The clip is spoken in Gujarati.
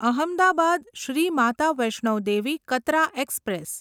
અહમદાબાદ શ્રી માતા વૈષ્ણો દેવી કતરા એક્સપ્રેસ